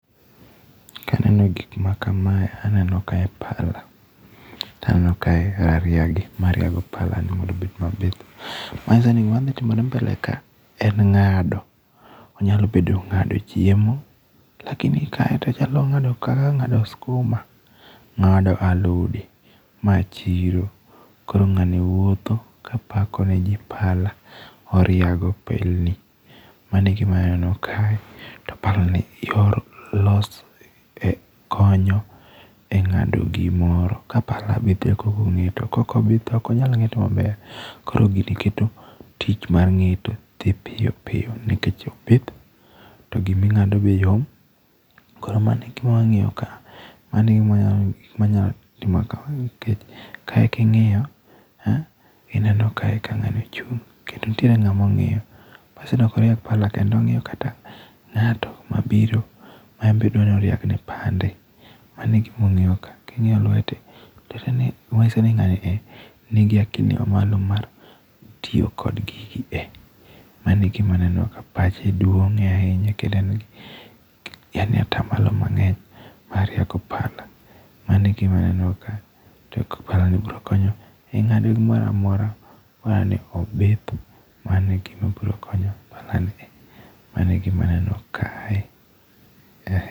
Kaneno gik makamae, aneno kae pala ,taneno kae gariagi, mariago palani mondo obed mabith. Manyiso ni gimadhi timore mbele ka, en ng'ado. Onyalo bedo ng'ado chiemo, lakini kae to chal ni ong'ado ka, ong'ado skuma. Ng'ado alode. Ma chiro. Koro ng'ani wuotho ka pako ne ji pala. Oriago pelni. Mano e gima aneno kae. To palani konyo e ng'ado gimoro. Ka pala be theko obong'eyo, to kok obith ok onyal ng'eto maber. Koro gini keto tich mar ng'eto dhi piyo piyo nikech obith, to giming'ado be yom. Koro mano e gimwang'iyo ka. Mano e gima wanyatimo ka, nikech kae king'iyo, ineno kae ka ng'ani ochung' kendo nitiere ng'amo ng'iyo, manyiso ni ok oriag pala kendo, ong'iyo kata ng'ato mabiro ma en be odwa noriag ne pande, mano e gimong'iyo ka. King'iyo lwete, manyiso ni ng'ani e nigi akili mamalo mar tiyo kod gigi e. Mano e gima aneno ka pache duong' e ahinya, kendo en gi yaani atamalo mang'eny mar riago pala. Mano e gima neno ka, to pala ni bro konyo e ng'ado gimoro amora bora ni obith. Mano e gima bro konyo pala ni e. Mano e gima neno kae.